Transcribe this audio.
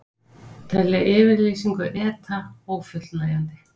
Telja yfirlýsingu ETA ófullnægjandi